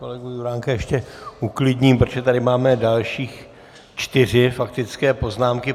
Kolegu Juránka ještě uklidním, protože tady máme další čtyři faktické poznámky.